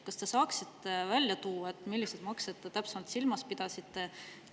Kas te saaksite välja tuua, milliseid makse te täpsemalt silmas pidasite?